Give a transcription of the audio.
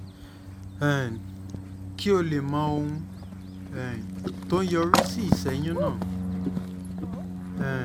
um kí o lè mọ ohun um tó ń yọrí sí ìṣẹ́yún náà um